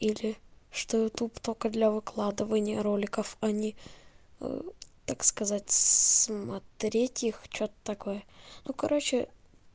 или что ютуб только для выкладывания роликов они так сказать смотреть их что-то такое ну короче